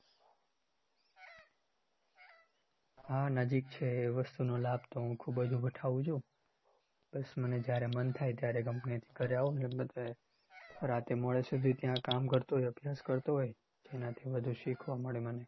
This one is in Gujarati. હા નજીક છે એ વસ્તુનો લાભ તો હું ખુબ જ ઉઠાઉં છું બસ મને જયારે મન થાય ત્યારે company થી ઘરે આવું રાત્રે મોડે સુધી ત્યાં કામ કરતો હોય અભ્યાસ કરતો હોય એનાથી વધુ શીખવા મળે મને